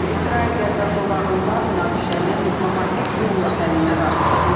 İsrail Qəzza zolağında münaqişənin diplomatik yolla həllinə razıdır.